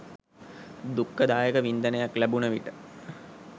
දුක්ඛ දායක වින්දනයක් ලැබුණ විට